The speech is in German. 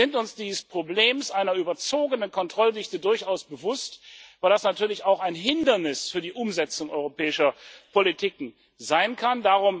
Wir sind uns dieses Problems einer überzogenen Kontrolldichte durchaus bewusst, weil das natürlich auch ein Hindernis für die Umsetzung europäischer Politik sein